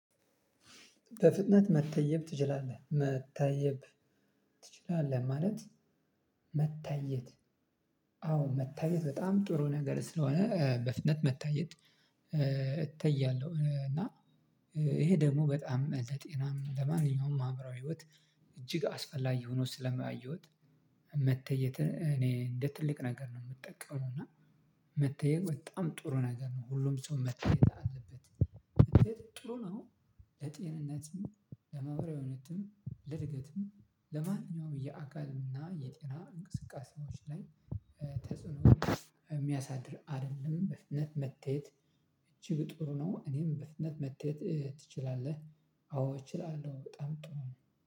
በፍጥነት መታየብ ትችላለህ መታየብ ትችላለህ ማለት መታየት አዎ መታየት በጣም ጥሩ ነገር ስለሆነ በፍጥነት መታየት። እተያለሁ እና ይሄ ደግሞ በጣም ለጤናም ለማንኛውም አምራዊ ህይወት እጅግ አስፈላጊ ሆኖ ስለማየሁት። መተየተ እኔ እንደ ትልቅ ነገር ነው ምጠቀመው። እና መተየት በጣም ጥሩ ነገር ነው። ሁሉም ሰው መተየት አለበት። ጥሩ ነው። ለጤንነትም ለመውራዊ እውነትም ለእድገትም ለማንኛውም የአካልም እና የጤና እንቅስቃሴዎች ላይ ተጽዕኖ የሚያሳድር አይደለም። በፍጥነት መተየት እጅግ ጥሩ ነው። እኔም በፍነት መተየት ትችላለህ አዎ እችላለሁ በጣም ጥሩ ነው